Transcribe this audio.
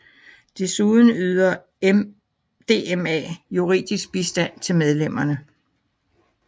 Desuden yder DMA juridisk bistand til medlemmerne